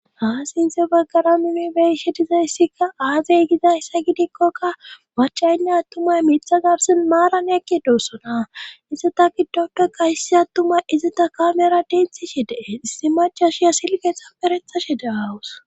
haa sinthe baggara minibeshe dizayssikka aazey gizayssa gidikkokka macaynne attumay miitha garsin maaran eqqi doossona izita giddopa qaysi attumay izita kamera denthi she dee issi maca shiya silgeetha perethashe deaawus